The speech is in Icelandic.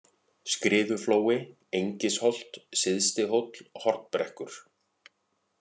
Skriðuflói, Engisholt, Syðsti-Hóll, Hornbrekkur